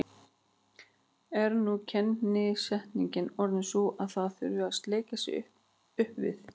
Er nú kennisetningin orðin sú að það þurfi að sleikja sig upp við